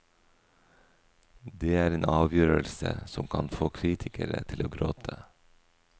Det er en avgjørelse som kan få kritikere til å gråte.